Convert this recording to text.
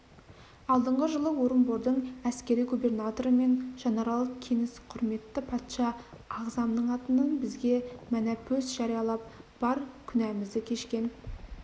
алдыңғы жылы орынбордың әскери губернаторы мен жанарал кеніс құрметті патша ағзамның атынан бізге мәнәпөс жариялап бар күнәмізді кешкен